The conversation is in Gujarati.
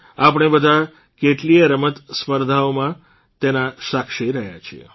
આપણે બધા કેટલીયે રમત સ્પર્ધાઓમાં તેના સાક્ષી રહ્યા છીએ